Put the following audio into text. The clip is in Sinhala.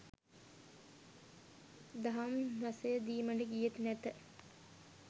දහම් රසය දීමට ගියෙත් නැත